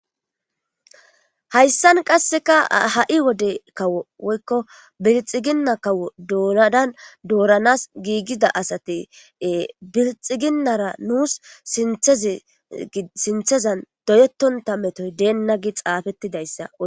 hayssan qasseka ha7i wode kawo woykko bilxiginna kawo doonadan dooranas giigida asati bilxiginnara nuus tsinthezan doyettonta metoy deenna gi xaafettidayssa qonc